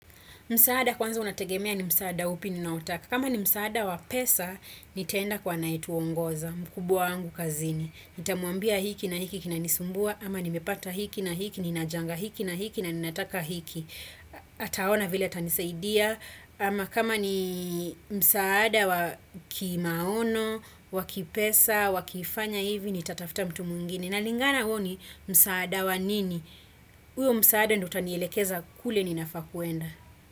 Msaada kwanza unategemea ni msaada upi ninaotaka. Kama ni msaada wa pesa, nitaenda kwa anaituongoza, mkubuwa wangu kazini. Nitamuambia hiki na hiki kinanisumbua, ama nimepata hiki na hiki, ninajanga hiki na hiki na ninataka hiki. Ataona vile tanisaidia, ama kama ni msaada wa kimaono, wakipesa, wakifanya hivi, nitatafuta mtu mwingine. Na lingana uo ni msaada wa nini. Uyo msaada ndo utanielekeza kule ninafaa kuenda.